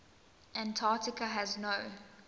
antarctica has no